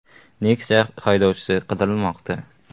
Nexia haydovchisi qidirilmoqda.